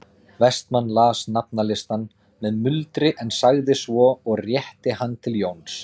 Vestmann las nafnalistann með muldri en sagði svo og rétti hann til Jóns